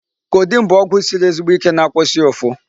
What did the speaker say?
Codeine bụ ọgwụ siri ezigbo Ike na-akwụsị ụfụ.